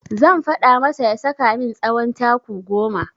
Zan faɗa masa ya saka min tsawon taku goma.